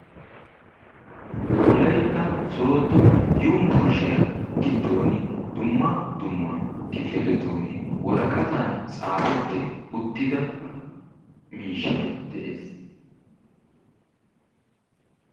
Wolaytta sooddo yubburushiya giddooni dumma dumma kifiletuuni woraqatan tsaafetti uttida miishshay de'ees.